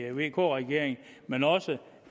vk regeringen men også